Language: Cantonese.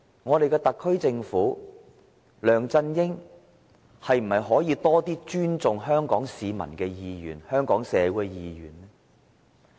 我們的特區政府和梁振英可否多些尊重香港市民、香港社會的意願呢？